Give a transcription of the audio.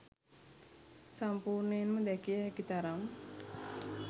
සම්පූර්ණයෙන්ම දැකිය හැකි තරම්